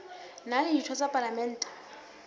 na le ditho tsa palamente